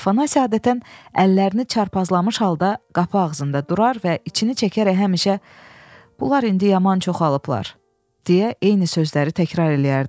Afanasi adətən əllərini çarpazlamış halda qapı ağzında durar və içini çəkərək həmişə bunlar indi yaman çoxalıblar deyə eyni sözləri təkrar eləyərdi.